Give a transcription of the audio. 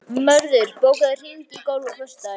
Mörður, bókaðu hring í golf á föstudaginn.